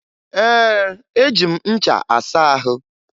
Ee, eji m ncha asa ahụ